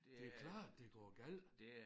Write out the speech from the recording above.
Det klart det går galt